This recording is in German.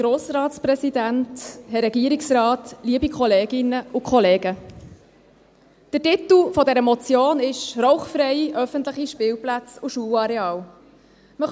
Der Titel dieser Motion lautet: «Rauchfreie öffentliche Kinderspielplätze und Schulareale […]».